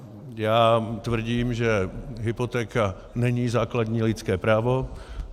Já tvrdím, že hypotéka není základní lidské právo.